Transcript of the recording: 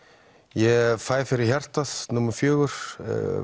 ég fæ fyrir hjartað fékk